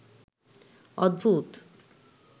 অদ্ভুত